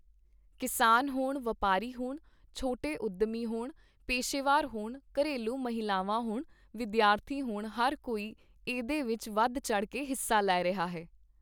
ਕਿਸਾਨ ਹੋਣ, ਵਪਾਰੀ ਹੋਣ, ਛੋਟੇ ਉੱਦਮੀ ਹੋਣ, ਪੇਸ਼ੇਵਾਰ ਹੋਣ, ਘਰੇਲੂ ਮਹਿਲਾਵਾਂ ਹੋਣ, ਵਿਦਿਆਰਥੀ ਹੋਣ ਹਰ ਕੋਈ ਏਹਦੇ ਵਿੱਚ ਵਧ ਚੜ੍ਹ ਕੇ ਹਿੱਸਾ ਲੈ ਰਿਹਾ ਹੈ।